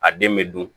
A den bɛ dun